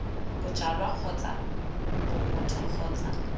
bojalwa kgotsa b motho kgotsa